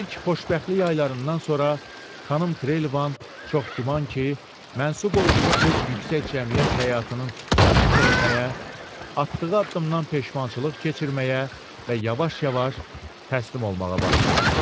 İlk xoşbəxtlik aylarından sonra xanım Trevelyan çox güman ki, mənsub olduğu öz yüksək cəmiyyət həyatının xiffətini çəkməyə, atdığı addımdan peşmançılıq keçirməyə və yavaş-yavaş təslim olmağa başlamışdı.